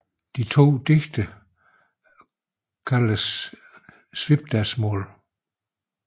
De to digte kaldes samlet Svipdagsmál